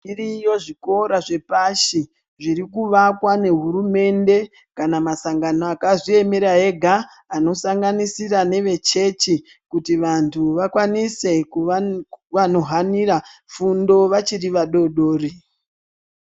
Zviriyo zvikora zvepashi zvirikuvakwa ngehurumende kana masangano akazviemera ega anosanganisira ngevechechi kuti vantu vakwanise kuhanira fundo vachiri vadodori .